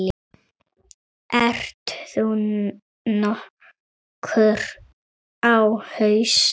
Ert þú nokkuð á hausnum?